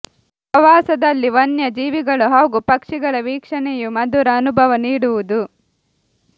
ಪ್ರವಾಸದಲ್ಲಿ ವನ್ಯ ಜೀವಿಗಳು ಹಾಗೂ ಪಕ್ಷಿಗಳ ವೀಕ್ಷಣೆಯೂ ಮಧುರ ಅನುಭವ ನೀಡುವುದು